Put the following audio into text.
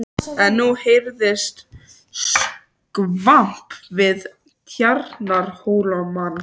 En nú heyrðist skvamp við Tjarnarhólmann.